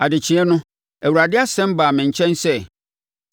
Adekyeɛ no, Awurade asɛm baa me nkyɛn sɛ,